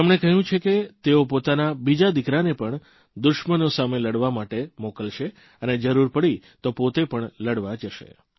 તેમણે કહ્યું છે કે તેઓ પોતાના બીજા દિકરાને પણ દુશ્મનો સામે લડવા માટે મોકલશે અને જરૂર પડી તો પોતે પણ લડવા જશે